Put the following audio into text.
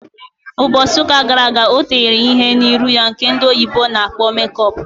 Mbosi uka gara aga o tere ihe n'iru ya nke ndị oyibo na-akpọ make up.